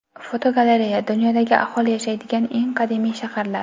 Fotogalereya: Dunyodagi aholi yashaydigan eng qadimiy shaharlar.